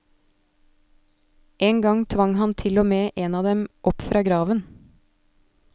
En gang tvang han til og med en av dem opp fra graven.